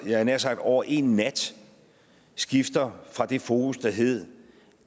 havde nær sagt over en nat skifter fra det fokus der hedder